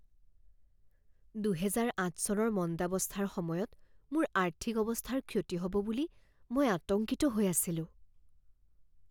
দুহেজাৰ আঠ চনৰ মন্দাৱস্থাৰ সময়ত মোৰ আৰ্থিক অৱস্থাৰ ক্ষতি হ'ব বুলি মই আতংকিত হৈ আছিলোঁ।